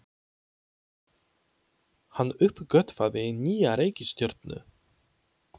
Hann uppgötvaði nýja reikistjörnu!